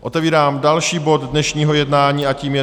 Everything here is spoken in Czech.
Otevírám další bod dnešního jednání a tím je